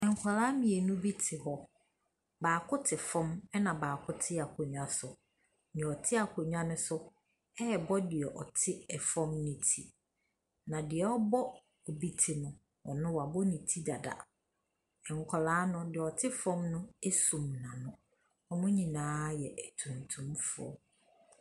Nkwadaa mmienu bi te hɔ. Baako te fam ɛna baako te akonnwa so. Deɛ ɔte akonnwa so no rebɔ deɛ ɔte fam no ti. Na deɛ ɔrebɔ obi ti no, ɔno wabɔ ne ti dada. Nkwadaa no deɛ ɔte fam no asum n’ano. Wɔn nyinaa yɛ tuntumfoɔ.